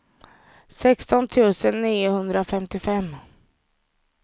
sexton tusen niohundrafemtiofem